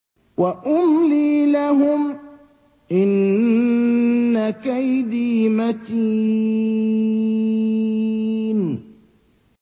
وَأُمْلِي لَهُمْ ۚ إِنَّ كَيْدِي مَتِينٌ